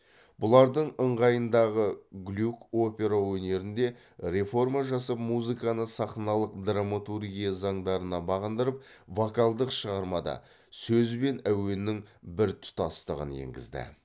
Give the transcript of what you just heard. бұлардың ыңғайындағы глюк опера өнерінде реформа жасап музыканы сахналық драматургия заңдарына бағындырып вокалдық шығармады сөз бен әуеннің біртұтастығын енгізді